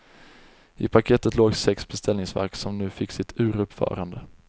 I paketet låg sex beställningsverk som nu fick sitt uruppförande.